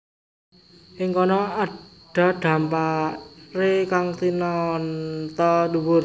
Ing kono ada dhamparé kang tinata dhuwur